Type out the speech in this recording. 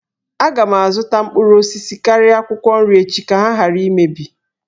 Aga m azụta mkpụrụ osisi karịa akwụkwọ nri echi ka ha ghara imebi